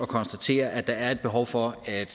konstatere at der er et behov for at